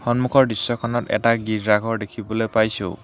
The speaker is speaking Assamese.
সন্মুখৰ দৃশ্যখনত এটা গীৰ্জা ঘৰ দেখিবলৈ পাইছোঁ।